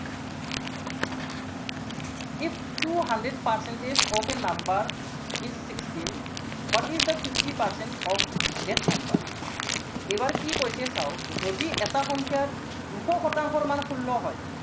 এইটো if two hundred percentage of a number is sixteen, what is the fifty percent of that number এইবাৰ কি কৈছে চাওক, যদি এটা সংখ্য়াৰ দুশ শতাংশৰ মানে ষোল্ল হয়